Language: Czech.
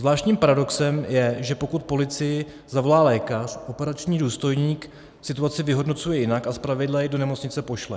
Zvláštním paradoxem je, že pokud policii zavolá lékař, operační důstojník situaci vyhodnocuje jinak a zpravidla ji do nemocnice pošle.